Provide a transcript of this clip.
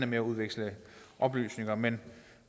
med at udveksle oplysninger men